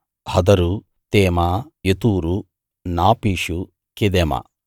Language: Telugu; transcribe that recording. హదరూ తేమా యెతూరూ నాపీషూ కెదెమా